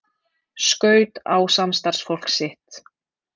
Skaut á samstarfsfólk sitt